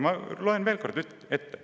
Ma loen selle veel kord ette.